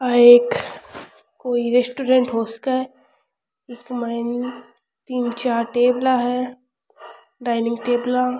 आ एक कोई रेस्टोरेंट हो सके है इसमें तीन चार टेबला है डाइनिंग टेबला --